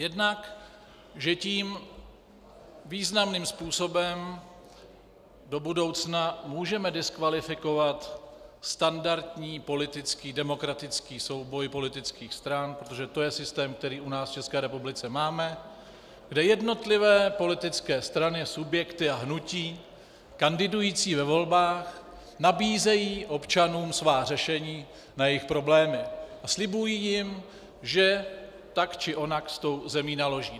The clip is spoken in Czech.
Jednak že tím významným způsobem do budoucna můžeme diskvalifikovat standardní politický demokratický souboj politických stran, protože to je systém, který u nás v České republice máme, kde jednotlivé politické strany, subjekty a hnutí kandidující ve volbách nabízejí občanům svá řešení na jejich problémy a slibují jim, že tak či onak s tou zemí naloží.